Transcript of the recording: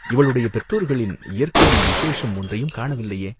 இவளுடைய பெற்றோர்களின் இயற்கையில் விசேஷம் ஒன்றையும் காணவில்லையே?